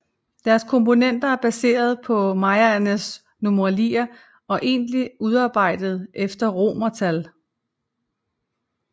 Deres komponenter er baseret på mayaernes numeralier og egentligt udarbejdet efter romertal